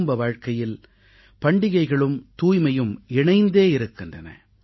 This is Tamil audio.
குடும்ப வாழ்கையில் பண்டிகைகளும் தூய்மையும் இணைந்தே இருக்கின்றன